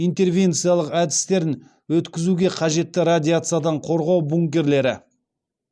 интервенциялық әдістерін өткізуге қажетті радиациядан қорғау бункерлері